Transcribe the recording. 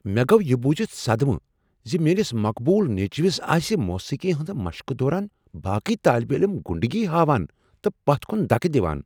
مےٚ گوٚو یہ بوٗزتھ صدمہٕ ز میٛٲنس مقبوٗل نیٚچوِس ٲسہِ موسیقی ہنٛز مشقہ دوران باقٕیہ طٲلبہ علم غُنڈٕگی ہاوان تہٕ پتھ كُن دَکہٕ دِوان ۔